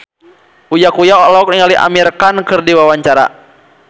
Uya Kuya olohok ningali Amir Khan keur diwawancara